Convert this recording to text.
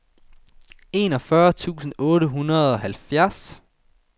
enogfyrre tusind otte hundrede og halvfjerds